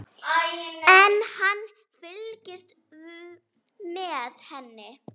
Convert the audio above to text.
En hann fylgist með henni.